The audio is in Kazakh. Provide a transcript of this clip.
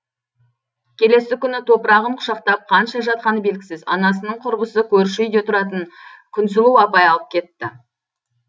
келесі күні топырағын құшақтап қанша жатқаны белгісіз анасының құрбысы көрші үйде тұратын күнсұлу апай алып кетті